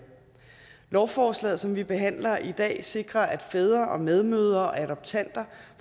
lovforslaget som vi behandler i dag sikrer at fædre og medmødre og adoptanter